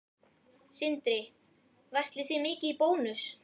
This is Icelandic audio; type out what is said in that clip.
Sindri: Verslið þið mikið í Bónus?